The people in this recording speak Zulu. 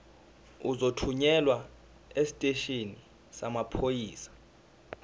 uzothunyelwa esiteshini samaphoyisa